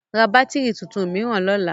Ra bátìrì tuntun mìíràn lọ́la!